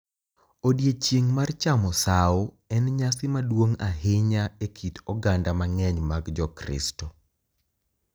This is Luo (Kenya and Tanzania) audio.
Odiechieng’ mar chamo sawo en nyasi maduong’ ahinya e kit oganda mang’eny mag Jokristo,